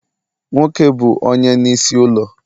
Nwoke bu Onye n'isi ulo